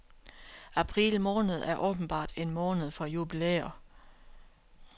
April måned er åbenbart en måned for jubilæer.